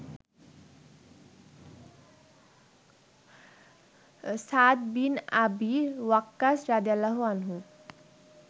Sa'd bin Abi Waqqas রা.